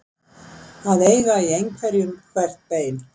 Að eiga í einhverjum hvert bein